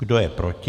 Kdo je proti?